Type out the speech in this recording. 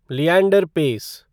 Leander pace